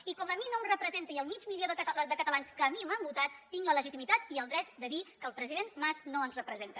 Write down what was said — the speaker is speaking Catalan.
i com a mi no em representa ni al mig milió de catalans que a mi m’han votat tinc la legitimitat i el dret de dir que el president mas no ens representa